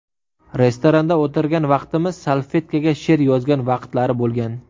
Restoranda o‘tirgan vaqtimiz salfetkaga she’r yozgan vaqtlari bo‘lgan.